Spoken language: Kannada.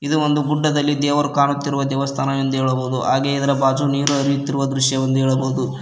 ಇದು ಒಂದು ಗುಡ್ಡದಲ್ಲಿ ದೇವರು ಕಾಣುತ್ತಿರುವ ದೇವಸ್ಥಾನವೆಂದು ಹೇಳಬಹುದು ಹಾಗೆ ಇದರ ಬಾಜು ನೀರು ಹರಿಯುತ್ತಿರುವ ದೃಶ್ಯವೆಂದು ಹೇಳಬಹುದು.